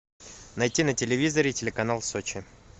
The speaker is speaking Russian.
найти на телевизоре телеканал сочи